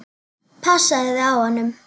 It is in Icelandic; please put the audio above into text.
Passaðu þig á honum.